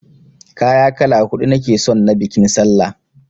Kaya kala huɗu nake son na biƙin sallah!